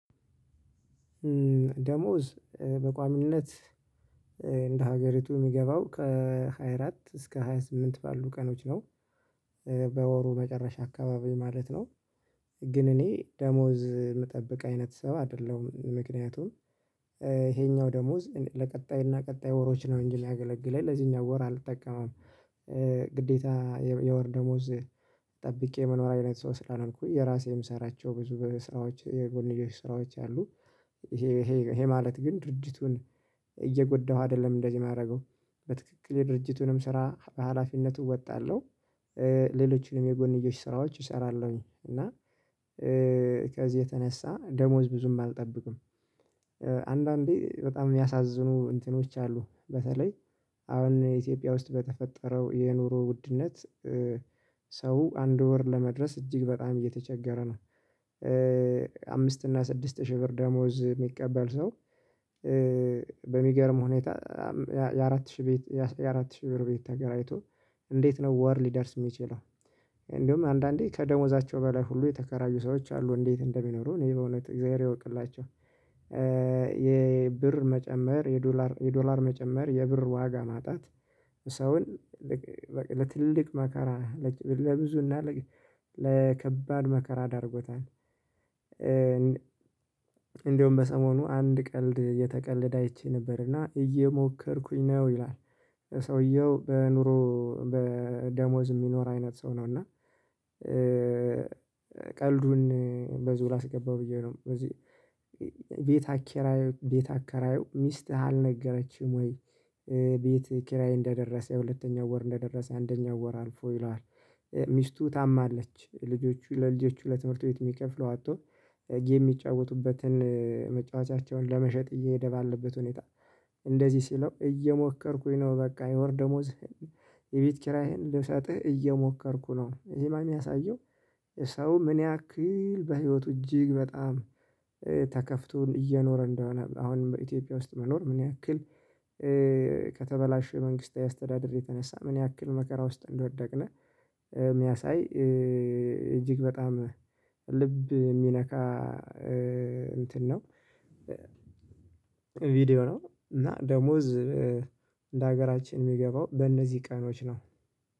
ደሞዝ በቋሚነት እንደ ሀገሪቱ የሚገባው ከሃያ አራት እስከ ሃያ ስምንት ባሉ ቀኖች ነው። በወሩ መጨረሻ አካባቢ ማለት ነው። ግን እኔ ደሞዝ ምጠብቅ አይነት ሰው አይደለሁም ምክንያቱም ይሄኛው ደሞዝ ለቀጣይና ቀጣይ ወሮች ነው እንጂ ሚያገለግለን ለዚህኛው ወር አልጠቀመውም። ግዴታ የወር ደሞዝ ጠብቄ መኖር አይነት ሰው ስላልኩኝ የራሴ ምሰራቸው ብዙ በስራዎች የጎንዮሽ ስራዎች አሉ። ይሄ ይሄ ማለት ግን ድርጅቱን እየጎዳሁ አይደለም እንደዚህ ማረገው በትክክል የድርጅቱንም ስራ በሃላፊነቱ እወጣለሁ። ሌሎችንም የጎንዮሽ ስራዎች እሰራለሁኝ እና ከዚህ የተነሳ ደሞዝ ብዙም አልጠብቅም። አንዳንዴ በጣም የሚያሳዝኑ እንትኖች አሉ በተለይ አሁን ኢትዮጵያ ውስጥ በተፈጠረው የኑሮ ውድነት። ሰው አንድ ወር ለመድረስ እጅግ በጣም እየተቸገረ ነው። አምስት እና ስድስት ሺህ ብር ደሞዝ ሚቀበል ሰው። በሚገርም ሁኔታ የአራት ሺህ ቤት የአራት ሺህ ብር ቤት ተከራይቶ እንዴት ነው ወር ሊደርስ ሚችለው? እንደውም አንዳንዴ ከደሞዛቸው በላይ ሁሉ የተከራዩ ሰዎች አሉ እንዴት እንደሚኖሩ እኔ በእውነት እግዚአብሔር ይወቅላቸው። የብር መጨመር የዶላር የዶላር መጨመር የብር ዋጋ ማጣት ሰውን ለትልቅ መካራ ለብዙ እና ለከባድ መከራ ዳርጎታል። እንደውም በሰሞኑ አንድ ቀልድ እየተቀለደ አይቼ ነበር እና እየሞከርኩኝ ነው ይላል። ሰውየው በኑሮ በደሞዝ ሚኖር አይነት ሰው ነው እና። ቀልዱን በዚሁ ላስገባው ብዬ ነው በዚህ ቤት አከራየው ቤት አከራየው ሚስት አልነገረችም ወይ ቤት ኪራይ እንደደረሰ የሁለተኛው ወር እንደደረሰ አንደኛው ወር አልፎ ይለዋል። ሚስቱ ታማለች ልጆቹ ለልጆቹ ለትምህርት ቤት ሚከፍለው አጥቶ ጌም ሚጫወቱበትን መጫወቻቸውን ለመሸጥ እየሄደ ባለበት ሁኔታ እንደዚህ ሲለው እየሞከርኩኝ ነው በቃ የወር ደሞዝ የቤት ኪራይህን ልሰጥህ እየሞከርኩ ነው። ይህማ የሚያሳየው ሰው ምን ያክል በህይወቱ እጅግ በጣም ተከፍቶን እየኖረ እንደሆነ አሁንም በኢትዮጵያ ውስጥ መኖር ምን ያክል? ከተበላሸ መንግስታዊ አስተዳደር የተነሳ ምን ያክል መከራ ውስጥ እንደወደቅነ ሚያሳይ። እጅግ በጣም ልብ የሚነካ እንትን ነው። ቪዲዮ ነው እና ደሞዝ ለሀገራችን ሚገባው በእነዚህ ቀኖች ነው።